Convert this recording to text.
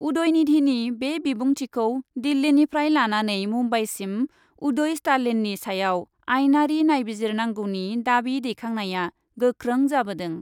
उदयनिधिनि बे बिबुंथिखौ दिल्लीनिफ्राय लानानै मुम्बाइसिम उदय स्टालिननि सायाव आइनारि नायबिजिरनांगौनि दाबि दैखांनाया गोख्रों जाबोदों।